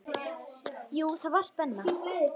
Jú, það var spenna.